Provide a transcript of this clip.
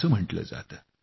असे म्हटले जाते